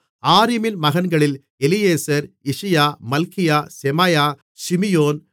ஆரீமின் மகன்களில் Eliezer Ishijah Malchijah Shemaiah ஷிமியோன்